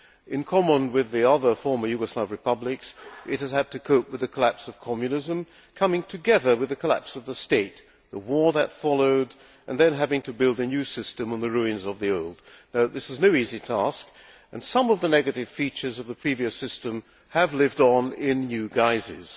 In common with the other former Yugoslav republics, it has had to cope with the collapse of Communism, coming together with the collapse of the state, the war that followed, and then having to build a new system on the ruins of the old. This is no easy task and some of the negative features of the previous system have lived on in new guises.